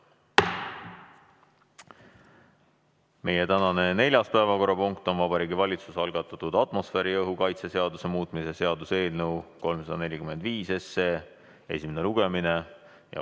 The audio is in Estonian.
Meie tänane neljas päevakorrapunkt on Vabariigi Valitsuse algatatud atmosfääriõhu kaitse seaduse muutmise seaduse eelnõu 345 esimene lugemine.